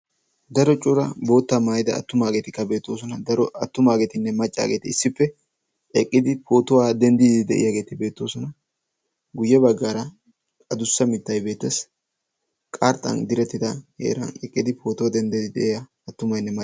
daro cuura boottaa maayida attumaageetikka beettoosona. daro attumaageetinne maccaageeti issippe eqqidi pootuwaa denddidi de7iyaageeti beettoosona. guyye baggaara adussa mittai beettees .qarxxan direttida heeran eqqidi pootuwaa denddiiddi de7iyaa attumainne maccay.